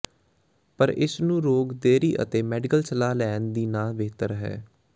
ਪਰ ਇਸ ਨੂੰ ਰੋਗ ਦੇਰੀ ਅਤੇ ਮੈਡੀਕਲ ਸਲਾਹ ਲੈਣ ਦੀ ਨਾ ਬਿਹਤਰ ਹੈ